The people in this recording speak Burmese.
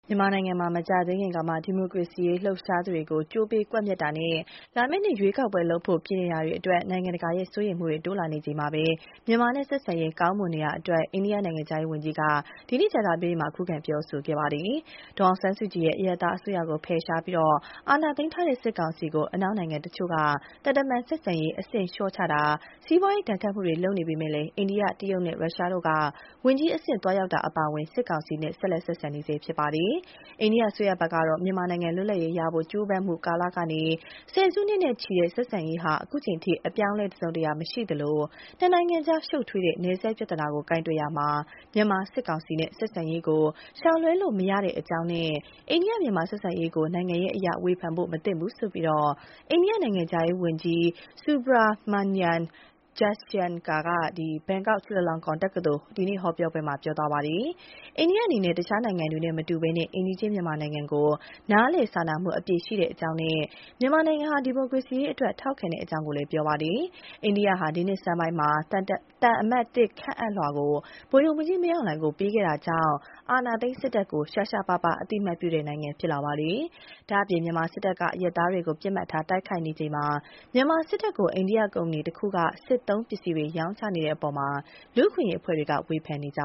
မြန်မာနိုင်ငံမှာ မကြာသေးခင်ကမှ ဒီမိုကရေစီရေးလှုပ်ရှားသူတွေကို ကြိုးပေးကွပ်မျက်တာနဲ့ လာမယ့်နှစ်ထဲ ရွေးကောက်ပွဲလုပ်ဖို့ ပြင်နေတာတွေအတွက် နိုင်ငံတကာရဲ့စိုးရိမ်မှုတွေ တိုးလာနေချိန်မှာ မြန်မာနဲ့ ဆက်ဆံရေးကောင်းမွန်နေတာအတွက် အိန္ဒိယနိုင်ငံခြားရေးဝန်ကြီးက ဒီကနေ့ ကြာသပတေးနေ့မှာ ခုခံပြောကြားလိုက်ပါတယ်။ ဒေါ်အောင်ဆန်းစုကြည်ရဲ့ အရပ်သားအစိုးရကိုဖယ်ရှားပြီး အာဏာသိမ်းထားတဲ့စစ်ကောင်စီကို အနောက်နိုင်ငံတချို့က သံတမန်ဆက်ဆံရေး အဆင့်လျှော့ချတာ၊ စီးပွါးရေးဒဏ်ခတ်မှုတွေ လုပ်နေပေမယ့် အိန္ဒိယ၊ တရုတ်နဲ့ ရုရှားတို့က ဝန်ကြီးအဆင့် သွားရောက်တာ အပါအဝင် စစ်ကောင်စီနဲ့ ဆက်လက် ဆက်ဆံနေတာ ဖြစ်ပါတယ်။ အိန္ဒိယအစိုးရဘက်ကတော့ မြန်မာနိုင်ငံ လွတ်လပ်ရေးရဖို့ ကြိုးပမ်းမှုကာလကနေ ဆယ်စုနှစ်နဲ့ချီတဲ့ ဆက်ဆံရေးဟာ အခုချိန် ထိ အပြောင်းအလဲတစုံတရာမရှိသလို ၂ နိုင်ငံကြား ရှုပ်ထွေးတဲ့နယ်စပ်ပြဿနာကို ကိုင်တွယ်ရာမှာ မြန်မာစစ်ကောင်စီနဲ့ ဆက်ဆံရေးကို ရှောင်လွှဲလို့မရကြောင်းနဲ့ အိန္ဒိယ- မြန်မာဆက်ဆံရေးကို နိုင်ငံရေးအရ ဝေဖန်ဖို့မသင့်ဘူးလို့ အိန္ဒိယနိုင်ငံခြားရေးဝန်ကြီး Subrahmanyam Jaishankar က ဘန်ကောက် Chulalongkorn တက္ကသိုလ် ဒီကနေ့ ဟောပြောပွဲမှာ ပြောကြားလိုက်တာပါ။ အိန္ဒိယအနေနဲ့ တခြားနိုင်ငံတွေနဲ့မတူဘဲ အိမ်နီးချင်းမြန်မာနိုင်ငံကို နားလည်စာနာမှု အပြည့်ရှိကြောင်းနဲ့ မြန်မာနိုင်ငံရဲ့ ဒီမိုကရေစီအရေးအတွက် ထောက်ခံကြောင်းလည်း ပြောပါတယ်။ အိန္ဒိယက ဒီနှစ်ဆန်းပိုင်းမှာ သံအမတ်သစ်ခန့်အပ်လွှာကို ဗိုလ်ချုပ်မှူးကြီး မင်းအောင်လှိုင်ကို ပေးအပ်ခဲ့တာကြောင့် အာဏာသိမ်း စစ်တပ်ကို ရှားရှားပါးပါးအသိမှတ်ပြုတဲ့ နိုင်ငံဖြစ်လာတာပါ။ ဒါ့အပြင် မြန်မာစစ်တပ်က အရပ်သားတွေကို ပစ်မှတ်ထားတိုက်ခိုက်နေချိန်မှာ မြန်မာစစ်တပ်ကို အိန္ဒိယကုမ္ပဏီတခုက စစ်သုံးပစ္စည်းတွေ ရောင်းချနေတဲ့အပေါ် လူ့အခွင့်ရေးအဖွဲ့တွေက ဝေဖန်နေကြ